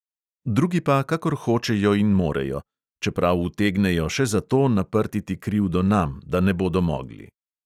Drugi pa, kakor hočejo in morejo – čeprav utegnejo še za to naprtiti krivdo nam, da ne bodo mogli.